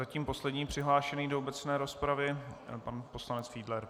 Zatím poslední přihlášený do obecné rozpravy pan poslanec Fiedler.